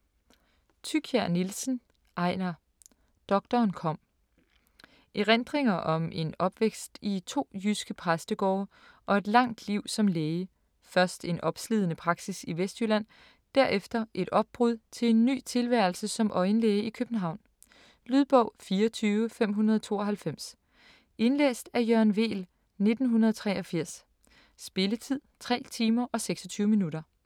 Thykier-Nielsen, Ejnar: Doktoren kom Erindringer om en opvækst i 2 jyske præstegårde og et langt liv som læge, først en opslidende praksis i Vestjylland, derefter et opbrud til en ny tilværelse som øjenlæge i København. Lydbog 24592 Indlæst af Jørgen Weel, 1983. Spilletid: 3 timer, 26 minutter.